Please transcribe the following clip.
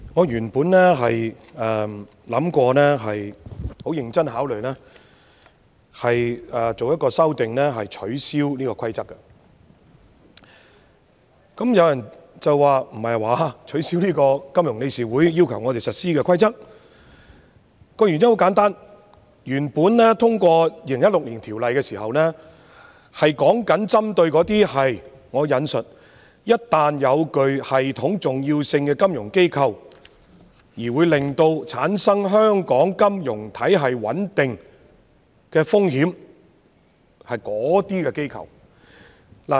原因很簡單，本來我們在2016年通過《金融機構條例》時旨在針對："一旦具系統重要性的金融機構......會對香港金融體系的穩定......構成風險"這類機構。